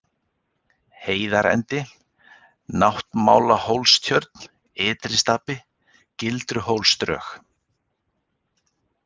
Heiðarendi, Náttmálahólstjörn, Ytristapi, Gildruhólsdrög